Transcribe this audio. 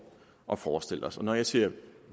og forestiller os når jeg siger